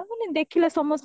ମାନେ ଦେଖିଲା ସମସ୍ତେ